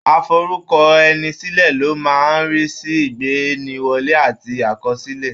Aforúkọẹnisílẹ̀ ló máa ń rí sí ìgbaniwọlé àti àkọsílẹ̀.